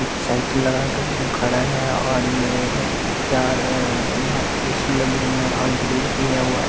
एक साइकिल लगा के उम खड़ा है और ये चार अअ यहाँ पे ए_सी लगे हुए हैं और ग्रिल भी --